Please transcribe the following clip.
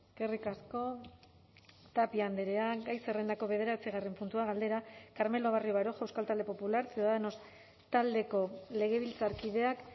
eskerrik asko tapia andrea gai zerrendako bederatzigarren puntua galdera carmelo barrio baroja euskal talde popular ciudadanos taldeko legebiltzarkideak